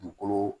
Dugukolo